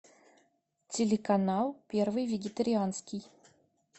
телеканал первый вегатерианский